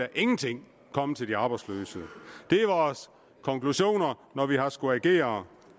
ingenting komme til de arbejdsløse det er vores konklusioner når vi har skullet agere